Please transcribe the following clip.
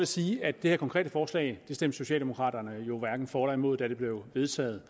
sige at det her konkrete forslag stemte socialdemokraterne hverken for eller imod da det blev vedtaget